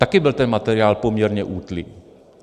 Také byl ten materiál poměrně útlý.